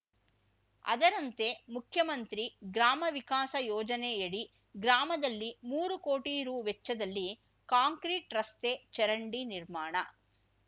ಅದರಂತೆ ಮುಖ್ಯಮಂತ್ರಿ ಗ್ರಾಮ ವಿಕಾಸ ಯೋಜನೆಯಡಿ ಗ್ರಾಮದಲ್ಲಿ ಮೂರು ಕೋಟಿ ರೂ ವೆಚ್ಚದಲ್ಲಿ ಕಾಂಕ್ರೀಟ್ ರಸ್ತೆ ಚರಂಡಿ ನಿರ್ಮಾಣ